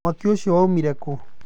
Mwaki ũcio woĩmĩre kũ?